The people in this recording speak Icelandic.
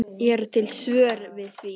Eru til svör við því?